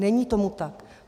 Není tomu tak.